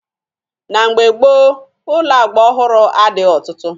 Na mgbe gboo, ụlọ agba ọhụrụ adịghị ọtụtụ.